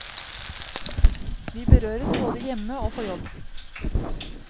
Vi berøres både hjemme og på jobb.